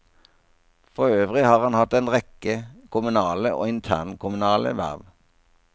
Forøvrig har han hatt en rekke kommunale og interkommunale verv.